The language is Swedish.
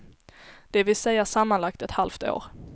Det vill säga sammanlagt ett halvt år.